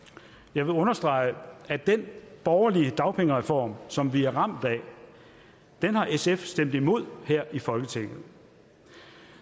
jeg vil understrege at den borgerlige dagpengereform som vi er ramt af har sf stemt imod her i folketinget